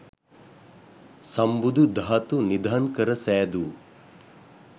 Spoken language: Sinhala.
සම්බුදු ධාතු නිධන් කර සෑදූ